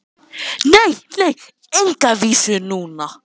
GVENDUR: Nei, nei, enga vísu núna.